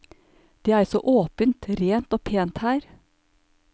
Det er så åpent, rent og pent her.